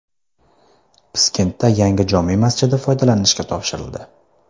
Piskentda yangi jome masjidi foydalanishga topshirildi .